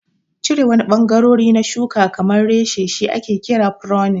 Cire wani ɓangarori na shuka kamar reshe shi ake kira pruning.